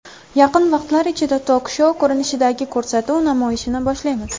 Yaqin vaqtlar ichida tok-shou ko‘rinishidagi ko‘rsatuv namoyishini boshlaymiz.